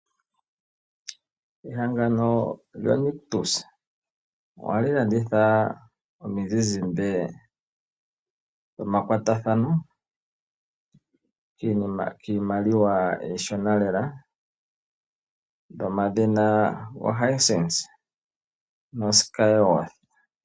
Ehangano lyo Nictus ohali landitha omi zizimbe dhomakwatathano kiimaliwa iishona lela. Omi zizimbe dhomadhina go Hisense no Skyworth.